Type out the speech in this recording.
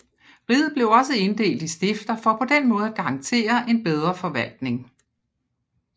Riget blev også inddelt i stifter for på den måde at garantere en bedre forvaltning